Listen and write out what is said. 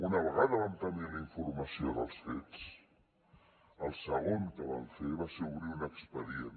una vegada vam tenir la informació dels fets el segon que vam fer va ser obrir un expedient